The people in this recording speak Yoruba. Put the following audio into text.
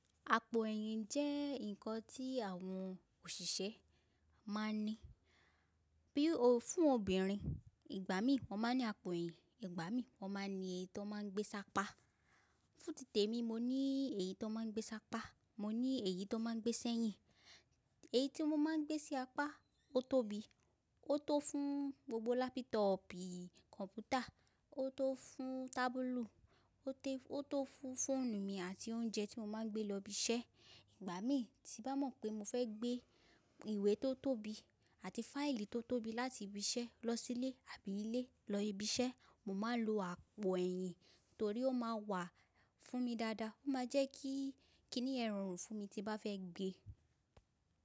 Àpò ẹ̀yìn jẹ́ ǹkan tí àwọn òṣìṣẹ́ máa ń ní. Bí fún obìnrin ìgbà mí wọ́n máa ń ní àpò ẹ̀yìn. Ìgbà mí wọ́n máa ń ní èyí tó máa ń gbé ṣapá. Fún títè mi mo ní èyí tó máa ń gbé ṣapá, mo ní èyí tó máa ń gbé sẹ́yìn. Èyí tí mo máa ń gbé sí apá ó tóbi, ó tó fún gbogbo lápútọọ̀pù kọ̀mpútà, ó tó fún tábúlù, ó tó fún fóònù mi àti oúnjẹ tí mo máa ń gbé lọ ibi iṣẹ́. Ìgbà mí tí bá mọ̀ pé mo fẹ́ gbé ìwé tó tóbi àti fáìlì tó tóbi láti ibi iṣẹ́ lọ sílé àbí ilé lọ ibi iṣẹ́, mo máa ń lo àpò ẹ̀yìn torí ó máa wà fún mi dáadáa, ó máa jẹ́ kí kí ni yen rorun fún mi tí bá fẹ́ gbé.